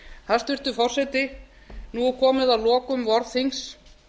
hæstvirtur forseti nú er komið að lokum vorþings